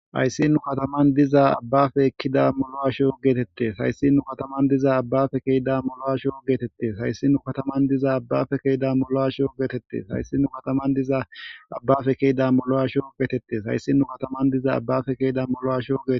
hayssi nu kataman diza abbafe ekkida molo asho geetette hayssinnu kataman diza abbafe keida molo asho geetette hayssi nu kataman diza abbafe keeda molo asho geetette hayssi nu kataman diza abbafe keyida molo asho geetette hayssinnu kataman diza abbafe keeda molo asho geete